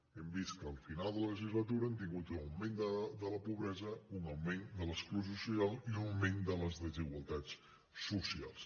hem vist que al final de la legislatura hem tingut un augment de la pobresa un augment de l’exclusió social i un augment de les desigualtats socials